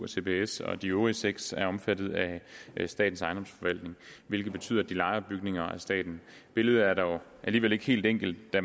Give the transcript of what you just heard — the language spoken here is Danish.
cbs og de øvrige seks er omfattet af statens ejendomsforvaltning hvilket betyder at de lejer bygninger af staten billedet er dog alligevel ikke helt enkelt da